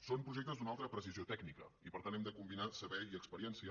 són projectes d’una alta precisió tècnica i per tant hem de combinar saber i experiència